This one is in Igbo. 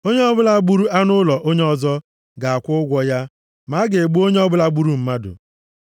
Onye ọbụla gburu anụ ụlọ onye ọzọ, ga-akwụ ụgwọ ya. Ma a ga-egbu onye ọbụla gburu mmadụ.